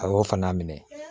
A y'o fana minɛ